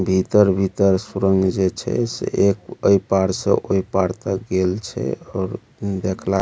भीतर-भीतर सुरंग जे छै से एक ए पार से ओए पार तक गेल छै और देखला --